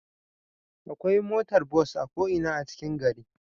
Akwai motar bus a ko Ina a cikin gari